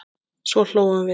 Svo hlógum við.